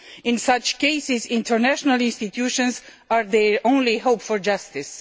In such cases international institutions are their only hope for justice.